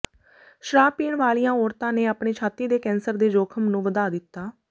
ਸ਼ਰਾਬ ਪੀਣ ਵਾਲੀਆਂ ਔਰਤਾਂ ਨੇ ਆਪਣੇ ਛਾਤੀ ਦੇ ਕੈਂਸਰ ਦੇ ਜੋਖ਼ਮ ਨੂੰ ਵਧਾ ਦਿੱਤਾ